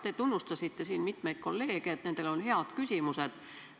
Te tunnustasite siin mitmeid kolleege, et neil on head küsimused.